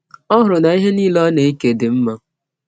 Ọ hụrụ na ihe nile ọ na - eke dị mma.